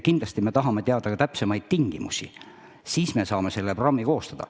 Kindlasti tahame teada ka täpsemaid tingimusi, siis saame programmi koostada.